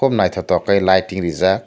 kub nythok tok lighting reejak.